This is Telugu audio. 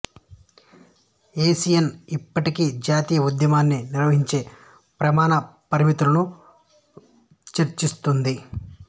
ఐయుసిఎన్ ఇప్పటికీ జాతీయ ఉద్యానవనాన్ని నిర్వచించే ప్రమాణ పారామితులను చర్చిస్తోంది